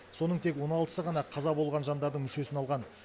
соның тек он алтысы ғана қаза болған жандардың мүшесін алған